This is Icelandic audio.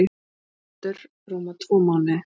ÞORVALDUR: Rúma tvo mánuði.